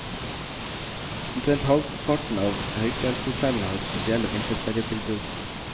Omtrent halvparten av høyfjellshotellene har spesielle vinterferietilbud.